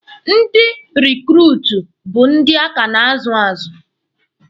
Ndị rekruutu bụ ndị a ka na-azu azụ.